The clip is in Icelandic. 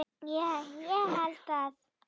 Ég held að